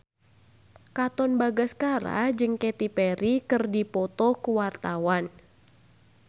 Katon Bagaskara jeung Katy Perry keur dipoto ku wartawan